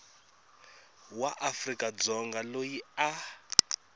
wa afrika dzonga loyi a